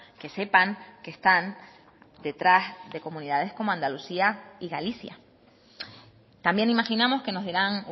que sepan que están detrás de comunidades como andalucía y galicia también imaginamos que nos dirán